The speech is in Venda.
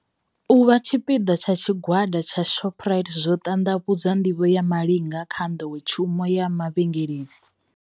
Uvha tshipiḓa tsha Tshigwada tsha Shopri te zwo ṱanḓavhudza nḓivho ya Malinga kha nḓowetshumo ya mavhengeleni.